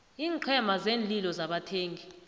iinqhema zeenlilo zabathengi